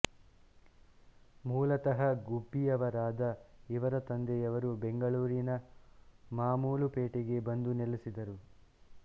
ಮೂಲತಃ ಗುಬ್ಬಿಯವರಾದ ಇವರ ತಂದೆಯವರು ಬೆಂಗಳೂರಿನ ಮಾಮೂಲು ಪೇಟೆಗೆ ಬಂದು ನೆಲೆಸಿದರು